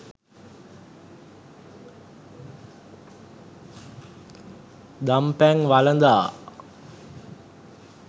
දන් පැන් වළඳා